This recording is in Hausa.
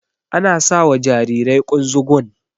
Ana sawa Jarirai kunzugun